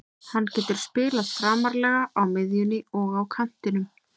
Hann getur spilað framarlega á miðjunni og á kantinum.